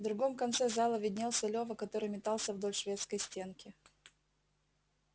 в другом конце зала виднелся лёва который метался вдоль шведской стенки